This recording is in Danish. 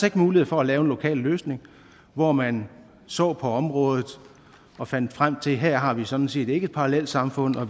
ikke mulighed for at lave en lokal løsning hvor man så på området og fandt frem til at her har vi sådan set ikke parallelsamfund og